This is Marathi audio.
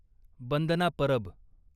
बंदना परब